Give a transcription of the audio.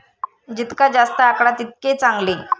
जितका जास्त आकडा तितके चांगले.